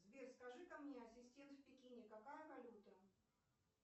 сбер скажи ка мне ассистент в пекине какая валюта